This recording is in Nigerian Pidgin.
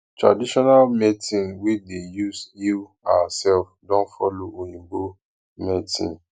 traditional medicine we dey use heal ourself don follow for oyibo medicine